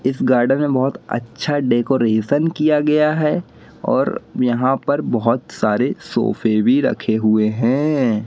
इस गार्डन में बहोत अच्छा डेकोरेशन किया गया है और यहां पर बहोत सारे सोफे भी रखे हुए हैं।